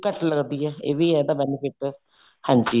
ਘੱਟ ਲੱਗਦੀ ਹੈ ਇਹ ਵੀ ਹੈ ਇਹਦਾ benefit ਹਾਂਜੀ